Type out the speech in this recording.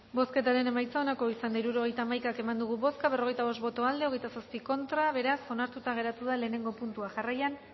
bozketaren emaitza onako izan da hirurogeita hamabi eman dugu bozka berrogeita bost boto aldekoa veintisiete contra beraz onartuta geratu da lehenengo puntua jarraian